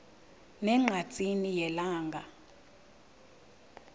ne ngqatsini yelanga